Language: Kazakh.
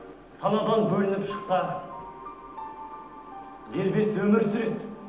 санадан бөлініп шықса дербес өмір сүреді